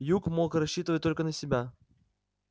юг мог рассчитывать только на себя